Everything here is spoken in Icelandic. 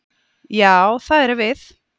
Já, það erum við.